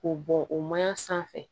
K'o bɔn o mayan sanfɛ